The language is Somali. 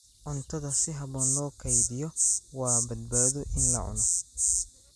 Cuntada si habboon loo kaydiyo waa badbaado in la cuno.